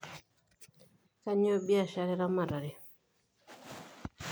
Kanyioo biashara eramatare?